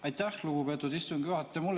Aitäh, lugupeetud istungi juhataja!